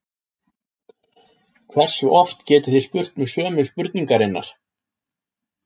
Hversu oft getið þið spurt mig sömu spurningarinnar?